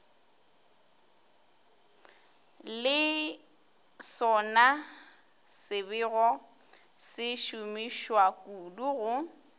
le sonasebego se šomišwakudu go